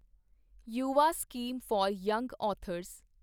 Yuva scheme for young authors